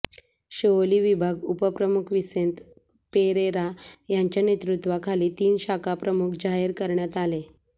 शिवोली विभाग उप प्रमुख विंसेत पेरेरा यांच्या नेतृत्वाखाली तीन शाखाप्रमुख जाहीर करण्यात आले